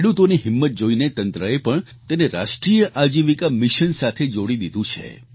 ખેડૂતોની હિંમત જોઈને તંત્રએ પણ તેને રાષ્ટ્રિય આજીવિકા મિશન સાથે જોડી દીધું છે